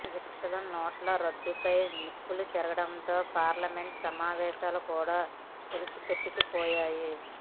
విపక్షాలు నోట్ల రద్దుపై నిప్పులు చెరగడంతో పార్లమెంటు సమావేశాలు కూడా తుడిచిపెట్టుకుపోయాయి